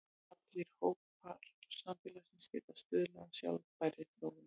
Allir hópar samfélagsins geta stuðlað að sjálfbærri þróun.